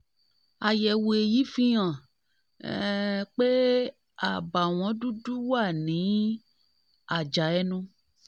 àyẹ̀wò eyín fihàn um pé àbàwọ́n dúdú wà ní àjà ẹnu